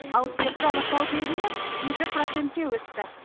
ал дертті анықтау деңгейі жеті процентке өсті